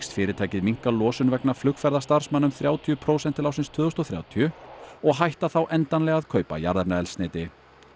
fyrirtækið minnka losun vegna flugferða starfsmanna um þrjátíu prósent til ársins tvö þúsund og þrjátíu og hætta þá endanlega að kaupa jarðefnaeldsneyti